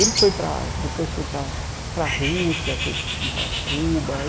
Ele foi para... depois foi para para Rússia, foi para hum Cuba.